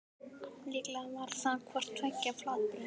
Líklega var það hvort tveggja flatbrauð.